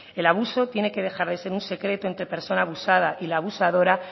el abuso tiene que dejar de ser un secreto entre persona abusada y la abusadora